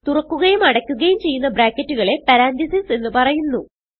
തുറക്കുകയും അടയ്ക്കുകയും ചെയ്യുന്ന ബ്രാക്കറ്റുകളെ പരന്തസിസ് എന്ന് പറയുന്നു